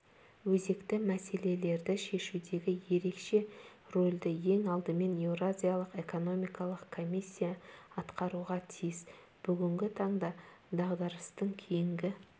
өзекті мәселелерді шешудегі ерекше рөлді ең алдымен еуразиялық экономикалық комиссия атқаруға тиіс бүгінгі таңда дағдарыстан кейінгі